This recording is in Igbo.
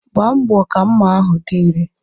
Gbaa mbọ ka mma ahụ dị irè!